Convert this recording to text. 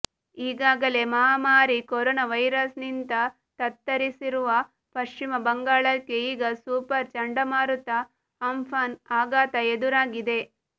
ಈಗಾಗಲೇ ಮಹಾಮಾರಿ corona virus ನಿಂತ ತತ್ತರಿಸಿರುವ ಪಶ್ಚಿಮ ಬಂಗಾಳಕ್ಕೆ ಈಗ ಸೂಪರ್ ಚಂಡಮಾರುತ ಅಂಫಾನ್ ಆಘಾತ ಎದುರಾಗಿದೆ